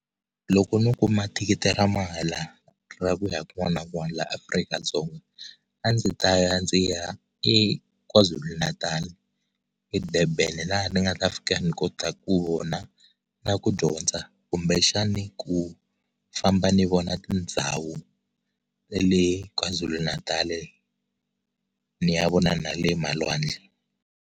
Loko ni kuma thikithia ra mahala ra ku ya kun'wana na kun'wana la Afrika-Dzonga a ndzi ta ya ndzi ya eKwaZulu-Natal eDurban laha ni nga ta fika ni kotaka ku vona na ku dyondza kumbexana ku famba ni vona tindhawu le KwaZulu-Natal ni ya vona na le malwandle.